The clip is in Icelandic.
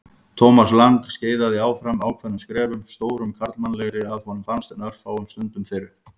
Thomas Lang skeiðaði áfram ákveðnum skrefum, stórum karlmannlegri að honum fannst en örfáum stundum fyrr.